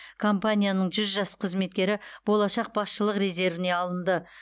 компанияның жүз жас қызметкері болашақ басшылық резервіне алынды